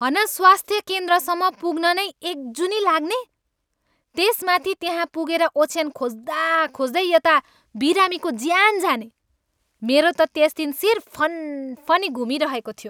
हन स्वास्थ्य केन्द्रसम्म पुग्न नै एक जुनी लाग्ने, त्यसमाथि त्यहाँ पुगेर ओछ्यान खोज्दाखोज्दै यता बिरामीको ज्यान जाने! मेरो त त्यस दिन शिर फनफनी घुमिरहेको थियो।